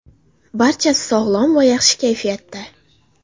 Barchasi sog‘lom va yaxshi kayfiyatda.